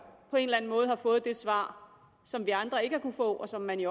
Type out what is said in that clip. på en eller anden måde har fået det svar som vi andre ikke har kunnet få og som man i